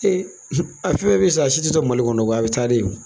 a fɛn fɛn bɛ san a si ti to Mali kɔnɔ a bɛ taa de o.